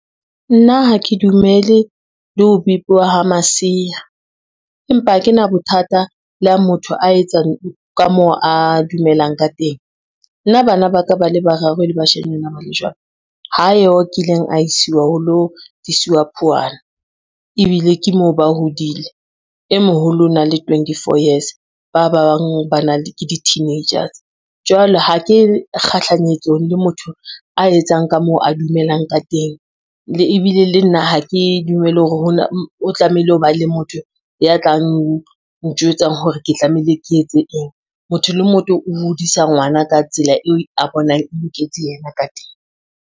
Nna ha ke dumele le ho bipiwa ha masea, empa ha ke na bothata le ha motho a etsa ka moo a dumelang ka teng. Nna bana ba ka ba le bararo e le bashanyana ba le jwalo ha yo a kileng a isiwa ho lo tisiwa phuwana, ebile ke moo ba hodile e moholo o na le twentyfour years ba bang ba ke di-teenagers. Jwale ha ke kgahlanyetsong le motho a etsang ka moo a dumelang ka teng ebile le nna ha ke dumele hore o tlamehile ho ba le motho ya tlang ntjwetsang, hore ke tlamehile ke etse eng, motho le motho o hodisa ngwana ka tsela eo a bonang loketse yena ka teng.